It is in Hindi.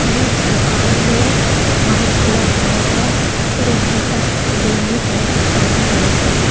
और इस दुकान में वाइट कलर हुआ है और यहां पर बैंगनी कलर के पर्दे डले हुए हैं।